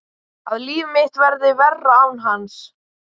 Að líf mitt verði verra án hans.